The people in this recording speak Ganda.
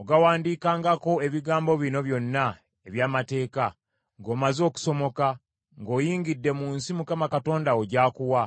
Ogawandiikangako ebigambo bino byonna eby’amateeka, ng’omaze okusomoka, ng’oyingidde mu nsi Mukama Katonda wo gy’akuwa,